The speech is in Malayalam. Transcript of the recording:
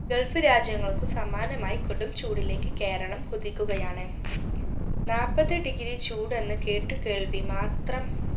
gulf രാജ്യങ്ങൾക്കു സമാനമായി കൊടും ചൂടിലേക് കേരളം കുതിക്കുകയാണ് നാപത് degree ചൂട് എന്ന് കേട്ടു കേൾവി മാത്രം